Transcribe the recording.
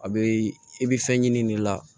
A bɛ i bɛ fɛn ɲini nin la